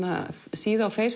síðu á